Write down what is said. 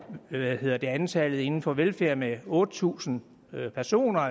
øge antallet inden for velfærd med otte tusind personer